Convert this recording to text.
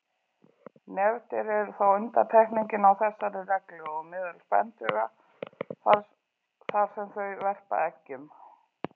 Nefdýr eru þó undantekningin á þessari reglu meðal spendýra þar sem þau verpa eggjum.